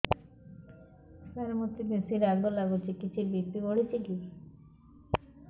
ସାର ମୋତେ ବେସି ରାଗ ଲାଗୁଚି କିଛି ବି.ପି ବଢ଼ିଚି କି